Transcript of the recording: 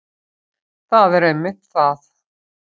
það er einmitt það